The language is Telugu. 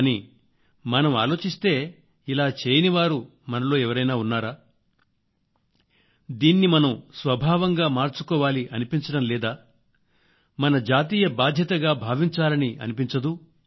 కానీమనం ఆలోచిస్తే ఇలా చేయనివారు మనలో ఎవరైనా ఉన్నారా దీన్ని మనం స్వభావంగా మార్చుకోవాలి అనిపించడం లేదా మన జాతీయ బాధ్యతగా భావించాలని అనిపించదూ